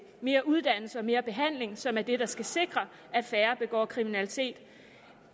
mere uddannelse og mere behandling som er det der skal sikre at færre begår kriminalitet